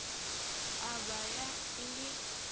a b ya e le